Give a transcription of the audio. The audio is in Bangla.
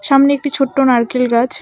সামনে একটি ছোট্ট নারকেল গাছ।